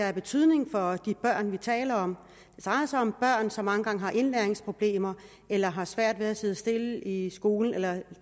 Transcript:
af betydning for de børn vi taler om det drejer sig om børn som mange gange har indlæringsproblemer eller har svært ved at sidde stille i skolen eller